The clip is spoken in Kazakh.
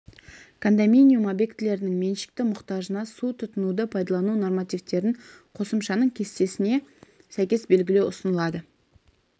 кондоминиум объектілерінің меншікті мұқтажына су тұтынуды пайдалану нормативтерін қосымшаның кестесіне сәйкес белгілеу ұсынылады